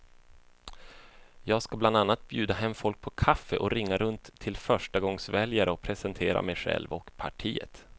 Jag ska bland annat bjuda hem folk på kaffe och ringa runt till förstagångsväljare och presentera mig själv och partiet.